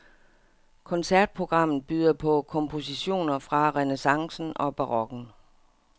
Koncertprogrammet byder på kompositioner fra renæssancen og barokken.